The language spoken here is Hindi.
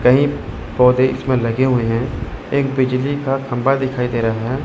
कहीं पौधे इसमे लगे हुए हैं एक बिजली का खम्भा दिखाई दे रहा है।